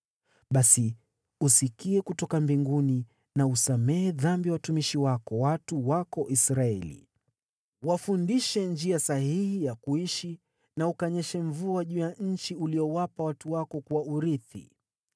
basi usikie kutoka mbinguni na usamehe dhambi ya watumishi wako, watu wako Israeli. Wafundishe njia sahihi ya kuishi na ukanyeshe mvua juu ya nchi uliyowapa watu wako kuwa urithi.